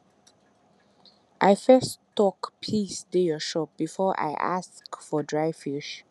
i first talk peace dey your shop before i ask for dry fish